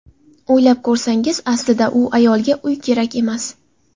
O‘ylab ko‘rsangiz, aslida bu ayolga uy kerak emas.